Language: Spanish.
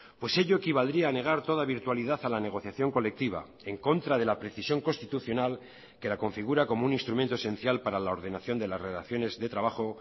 pues ello equivaldría a negar toda virtualidad a la negociación colectiva en contra de la precisión constitucional que la configura como un instrumento esencial para la ordenación de las relaciones de trabajo